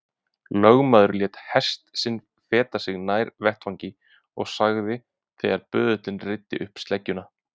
Lögmaður lét hest sinn feta sig nær vettvangi og sagði þegar böðullinn reiddi upp sleggjuna